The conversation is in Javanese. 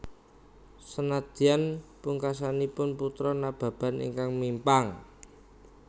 Senadyan pungkasanipun Putra Nababan ingkang mimpang